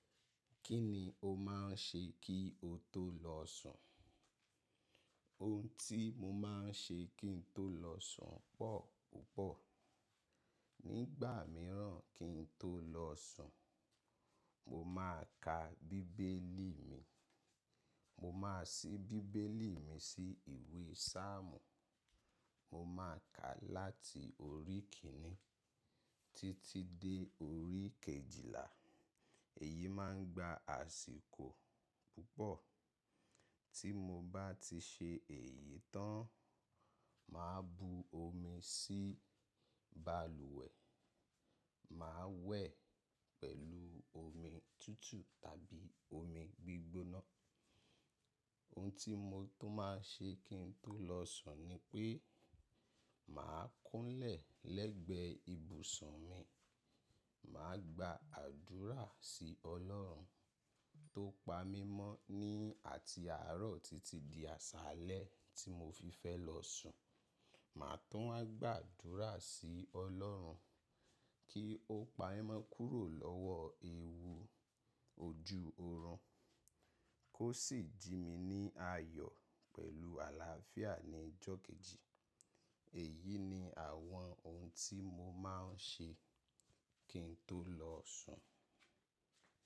Kí ni o máà ń ṣe kí o tó lọ sùn? Ohun tí mo máa ń ṣe kí n tó lọ sùn pọ̀ púpọ̀. Nígbà mìíràn kí n tó lọ sùn, mo máa ka bíbélì mi. Mo máa sí bíbélì mi sí ìwé Sáàmù. Mo máa ka láti orí kìn in ni títí dé orí kejìlá. Èyí máa ń gba àsìkò púpọ̀. Tí mo bá ti ṣe èyí tán, màá bu omi sí bàlùwẹ̀. Màá wẹ̀ pẹ̀lú omi tútù tàbí omi gbígbóná. Ohun tí mo tun máa ṣe kí n tó lọ sùn ni pé, màá kúnlẹ̀ lẹ́gbẹ ibùsùn mi. Màá gba àdúrà sí Ọlọ́run tó pa mí mọ́ ní àti àárọ̀ títí di àsálẹ́ tí mo fi fẹ́ lọ sùn. Màá tún á gba àdúrà sí Ọlọ́run kí ó pa'mọ́ kúrò lọ́wọ́ ewu ojú orun kó sì jí mi ní ayọ̀ pẹ̀lú àlàáfíà ní ìjọ kejì. Èyí ni àwọn ohun tí mo máa ń ṣe kí n tó lọ sùn.